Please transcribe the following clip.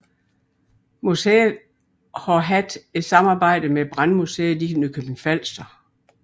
Museet har haft et samarbejde med Brandmuseet i Nykøbing Falster